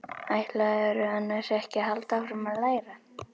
Ætlarðu annars ekki að halda áfram að læra?